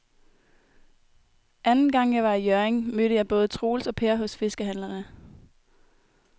Anden gang jeg var i Hjørring, mødte jeg både Troels og Per hos fiskehandlerne.